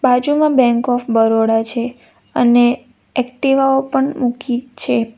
બાજુમાં Bank of Baroda છે અને એકટીવા ઓ પણ મૂકી છે.